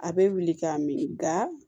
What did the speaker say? A bɛ wili k'a min nka